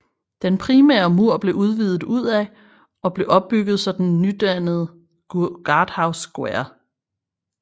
Den primære mur blev udvidet udad og blev ombygget så den nydannede Guardhouse Square